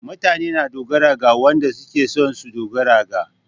Mutane na dogara ga wanɗa suke son su ɗogara ga.